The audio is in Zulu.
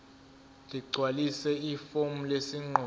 ligcwalise ifomu lesinqumo